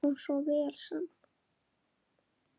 Þeim kom svo vel saman.